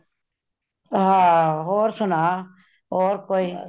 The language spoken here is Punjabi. ਹਾਂ , ਹੋਰ ਸੁਨਾ ਹੋਰ ਕੋਈ